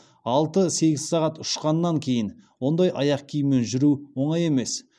алты сегіз сағат ұшқаннан кейін ондай аяқ киіммен жүру оңай емес